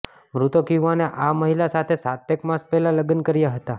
મૃતક યુવાને આ મહિલા સાથે સાતેક માસ પહેલા લગ્ન કર્યા હતાં